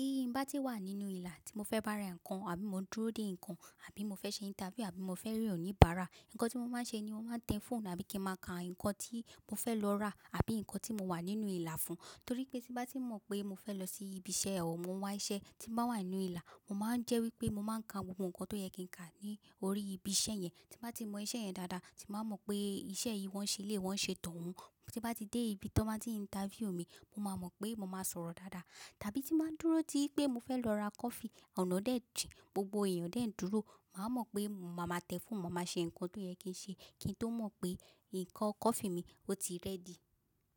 Tí mo bá wà nínú ìlà tí mo fẹ́ bá ra nǹkan àbí mo dúró dè nǹkan àbí mo fẹ́ ṣe interview àbí mo fẹ́ rí oníbàárà, nǹkan tí mo máa ń ṣe ni mo máa ń tẹ fóònù àbí kí mo máa ka nǹkan tí mo fẹ́ lọ rà àbí nǹkan tí mo wà nínú ìlà fún. Nítorí pé tí bá ti mọ̀ pé mo fẹ́ lọ sí ibi iṣẹ́ ẹwọ̀n, mo wá iṣẹ́ tí mo wà nínú ìlà, mo máa ń jẹ́ wípé mo máa ń ka gbogbo nǹkan tó yẹ kí ń kà ní orí ibi iṣẹ́ yẹn. Tí mo bá ti mọ iṣẹ́ yẹn dáadáa, tí mo bá mọ̀ pé iṣẹ́ yìí wọ́n ṣe lé wọ́n ṣe tohun. Tí bá ti dé ibi tí wọ́n máa ti interview mi, mo máa mọ̀ pé mo máa sọ̀rọ̀ dáadáa. Tàbí tí mo dúró tí pé mo fẹ́ lọ ra coffee, ọ̀nà dẹ̀ jìn, gbogbo èèyàn dẹ̀ ń dúró, màá mọ̀ pé mo máa tẹ fóònù, mo máa ṣe nǹkan tó yẹ kí ń ṣe kí n tó mọ̀ pé nǹkan coffee mi ó ti ready.